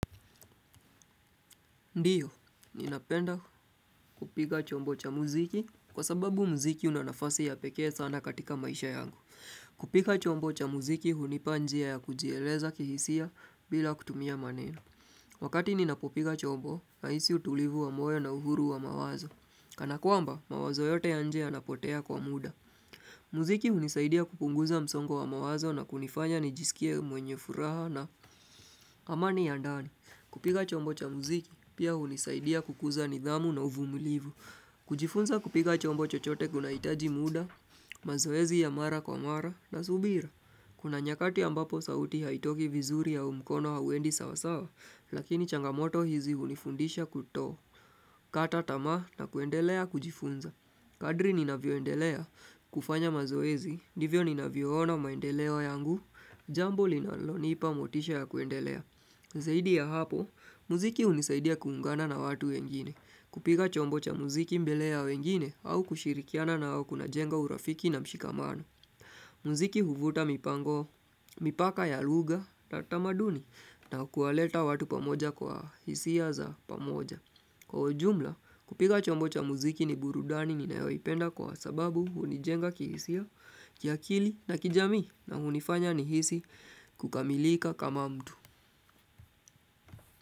Ndiyo, ninapenda kupiga chombo cha muziki kwa sababu muziki una nafasi ya pekee sana katika maisha yangu. Kupiga chombo cha muziki hunipa njia ya kujieleza kihisia bila kutumia maneno. Wakati ninapopiga chombo, nahisi utulivu wa moyo na uhuru wa mawazo. Kanakwamba, mawazo yote ya nje yanapotea kwa muda. Muziki hunisaidia kupunguza msongo wa mawazo na kunifanya nijisikie mwenye furaha na amani ya ndani. Kupiga chombo cha muziki, pia hunisaidia kukuza nidhamu na uvumulivu. Kujifunza kupiga chombo chochote kunahitaji muda, mazoezi ya mara kwa mara, na subira. Kuna nyakati ambapo sauti haitoki vizuri au mkono hauendi sawasawa, lakini changamoto hizi hunifundisha kuto. Kata tamaa na kuendelea kujifunza. Kadri ninavyoendelea, kufanya mazoezi, ndivyo ninavyoona maendeleo yangu, jambo linalonipa motisha ya kuendelea. Zaidi ya hapo, muziki hunisaidia kuungana na watu wengine, kupiga chombo cha muziki mbele ya wengine au kushirikiana nao kunajenga urafiki na mshikamano. Muziki huvuta mipango, mipaka ya lugha na tamaduni na kuwaleta watu pamoja kwa hisia za pamoja. Kwa ujumla, kupiga chombo cha muziki ni burudani ninayoipenda kwa sababu hunijenga kihisia, kiakili na kijamii na hunifanya nihisi kukamilika kama mtu.